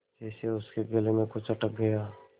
जैसे उसके गले में कुछ अटक गया